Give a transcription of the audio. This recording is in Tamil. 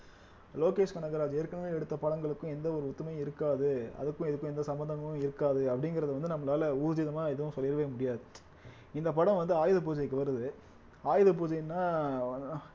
லோகேஷ் கனகராஜ் ஏற்கனவே எடுத்த படங்களுக்கும் எந்த ஒரு ஒத்துமையும் இருக்காது அதுக்கும் இதுக்கும் எந்த சம்பந்தமும் இருக்காது அப்படிங்கிறத வந்து நம்மளால ஊர்ஜிதமா எதுவும் சொல்லவே முடியாது இந்த படம் வந்து ஆயுத பூஜைக்கு வருது ஆயுத பூஜைன்னா